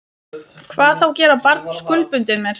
Hvað þá gera barn skuldbundið mér.